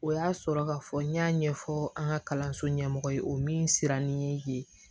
O y'a sɔrɔ ka fɔ n y'a ɲɛfɔ an ka kalanso ɲɛmɔgɔ ye o min sira nin ye